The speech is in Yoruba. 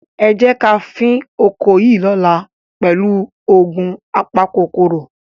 Ẹ jẹ́ ká fín oko yìí lọ́la pẹ̀lú òògun apakòkòrò.